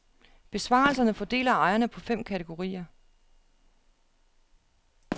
Besvarelserne fordeler ejerne på fem kategorier.